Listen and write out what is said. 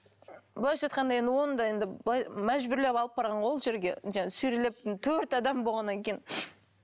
былайша айтқанда енді оны да енді былай мәжбүрлеп алып барған ғой ол жерге жаңағы сүйрелеп төрт адам болғаннан кейін